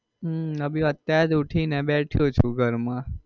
હમ અભી અત્યારે જ ઉઠી ને બેઠો છું ઘર માં.